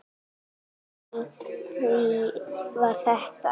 Inni í því var þetta.